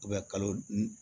kalo